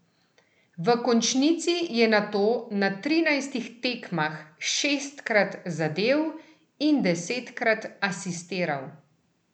V končnici je nato na trinajstih tekmah šestkrat zadel in desetkrat asistiral.